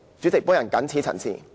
主席，我謹此陳辭。